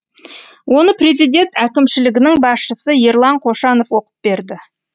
оны президент әкімшілігінің басшысы ерлан қошанов оқып берді